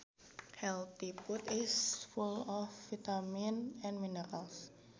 Healthy food is full of vitamins and minerals